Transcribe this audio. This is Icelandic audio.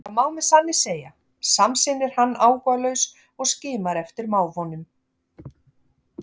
Það má með sanni segja, samsinnir hann áhugalaus og skimar eftir mávunum.